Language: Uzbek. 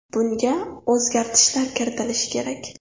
Bunga o‘zgartishlar kiritilishi kerak.